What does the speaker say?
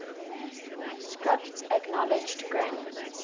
script acknowledged granny's